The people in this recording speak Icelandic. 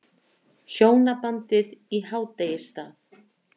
Hjónabandið í hádegisstað.